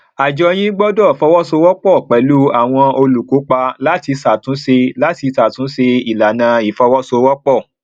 àjọ yín gbọdọ fọwọsowọpọ pẹlú àwọn olùkópa láti ṣàtúnṣe láti ṣàtúnṣe ìlànà ìfọwọsowọpọ